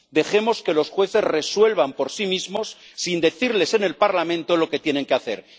Dejemos que los jueces resuelvan por sí mismos sin decirles en el Parlamento lo que tienen que hacer.